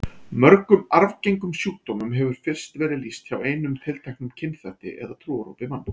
Mörgum arfgengum sjúkdómum hefur fyrst verið lýst hjá einum tilteknum kynþætti eða trúarhópi manna.